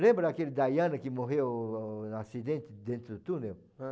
Lembra daquela Diana que morreu num acidente dentro do túnel? Ãh?